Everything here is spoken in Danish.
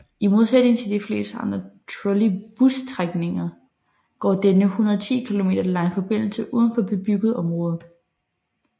I modsætning til de fleste andre trolleybusstrækninger går denne 110 km lange forbindelse udenfor bebygget område